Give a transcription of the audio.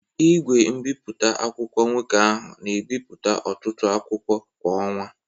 Igwe mbipụta akwụkwọ nwoke ahụ na ebi ọtụtụ akwụkwọ kwa ọnwa.